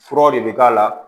Furaw de bɛ k'a la